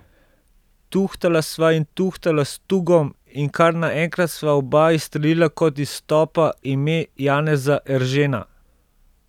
Tuhtala sva in tuhtala s Tugom in kar naenkrat sva oba izstrelila kot iz topa ime Janeza Eržena.